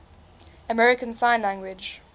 american sign language